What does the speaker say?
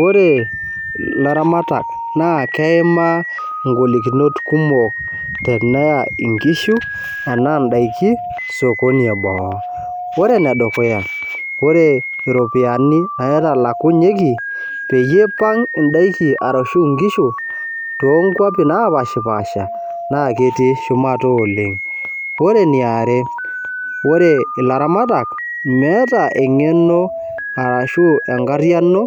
Oore ilaramatak naa keimaa igolikinot kumok tenaa inkishu enaa in'daiki osokoni edamu. Oore enedukuya, oore iropiyiani naitalakunyieki teneipang in'daiki arashu inkishu peeyae inkwapi napashipaasha, naa ketii shumata oleng. Oore eniare, oore ilaramatak meeta eng'ebno araki enkariyiano